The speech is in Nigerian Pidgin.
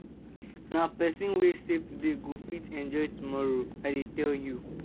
Nah pesin wey save today go fit enjoy tomorrow, I dey tell you.